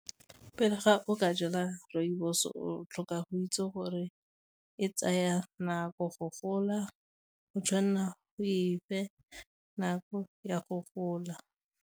Pele ga o ka jala rooibos o tlhoka go itse gore e tsaya nako go gola, o tshwanela o e fe nako ya go gola.